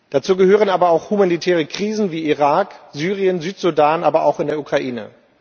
Dazu gehören aber auch humanitäre Krisen wie in Irak, in Syrien, im Südsudan, aber auch in der Ukraine.